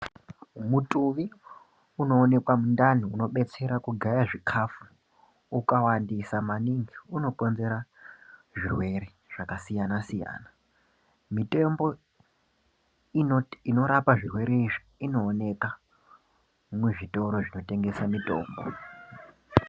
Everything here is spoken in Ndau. Mutuvi unoonekwa mundani unobetsera kugaya zvikafu ukawansisa maningi unokonzera zvirwere zvakasiyana siyana mitembo inorapa zvirwere izvi inooneka muzvitoro zvinotengese mitombo.